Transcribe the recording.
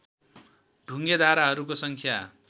ढुङ्गे धाराहरूको सङ्ख्या